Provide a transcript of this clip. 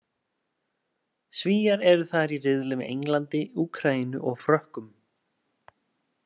Svíar eru þar í riðli með Englandi, Úkraínu og Frökkum.